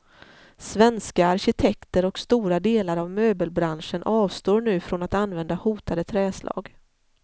Svenska arkitekter och stora delar av möbelbranschen avstår nu från att använda hotade trädslag.